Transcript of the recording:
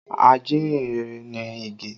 Ajíhìn-rere ni Ige